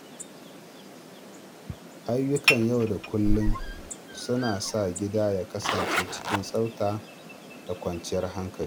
Ayyukan yau da kullum suna sa gida ya kasance cikin tsafta da kwanciyar hankali.